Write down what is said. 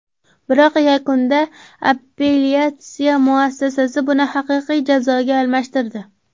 Biroq yakunda appelyatsiya muassasasi buni haqiqiy jazoga almashtirdi.